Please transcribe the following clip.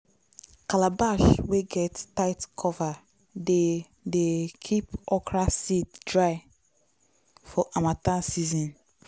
calabash wey get tight cover dey dey keep okra seed dry for harmattan season.